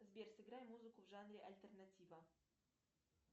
сбер сыграй музыку в жанре альтернатива